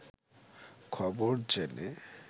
খবর জেনে